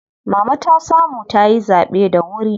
Mama ta samu tayi zaɓe da wuri.